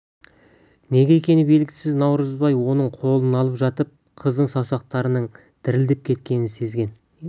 неге екені белгісіз наурызбай оның қолын алып жатып қыздың саусақтарының дірілдеп кеткенін сезген